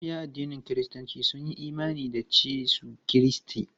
Mabiya addinin kiristanci sun yi imani da Yesu Kiristi.